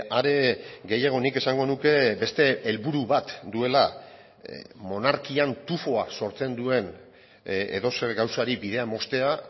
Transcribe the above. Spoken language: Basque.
are gehiago nik esango nuke beste helburu bat duela monarkian tufoak sortzen duen edozer gauzari bidea moztea